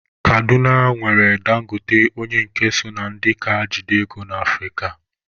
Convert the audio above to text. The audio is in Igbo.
Kaduna nwere Dangote onye nke so na ndị ka jide ego na Afrịka.